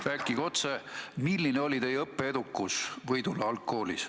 Rääkige otse, milline oli teie õppeedukus Võidula algkoolis.